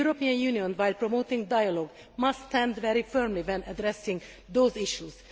The European Union, by promoting dialogue, must stand very firmly when addressing those issues.